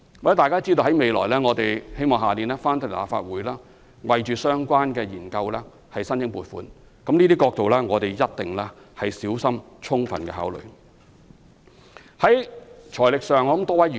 "我們希望來年向立法會就相關研究申請撥款，我們一定會小心充分考慮這些憂慮。